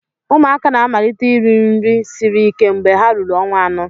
Ụmụaka na-amalite iri nri siri ike mgbe ha ruru ọnwa anọ.